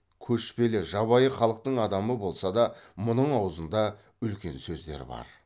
көшпелі жабайы халықтың адамы болса да мұның аузында үлкен сөздер бар